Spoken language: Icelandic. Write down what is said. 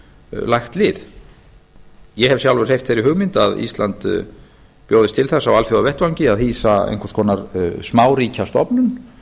lagt lið ég hef sjálfur hreyft þeirri hugmynd að ísland bjóðist til þess á alþjóðavettvangi að hýsa einhvers konar smáríkjastofnun